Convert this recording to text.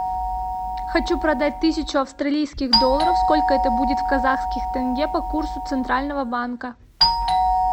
хочу продать тысячу австралийских долларов сколько это будет в казахских тенге по курсу центрального банка